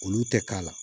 Olu tɛ k'a la